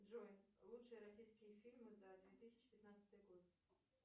джой лучшие российские фильмы за две тысячи пятнадцатый год